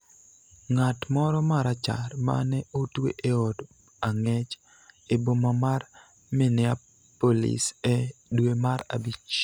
ng�at moro ma Rachar ma ne otwe e od ang�ech e boma mar Minneapolis e dwe mar Abich.